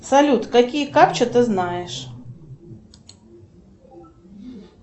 салют какие капчи ты знаешь